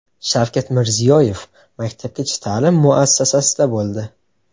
Shavkat Mirziyoyev maktabgacha ta’lim muassasasida bo‘ldi.